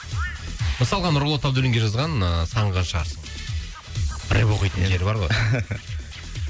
мысалға нұрболат абдуллинге жазған ыыы сағынған шығарсың рэп оқитын нелері бар ғой